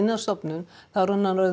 á stofnun þá er hann orðinn